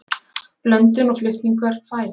Blöndun og flutningur fæðu.